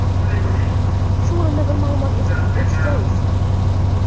Shu o‘rinda bir ma’lumotni eslatib ketish joiz.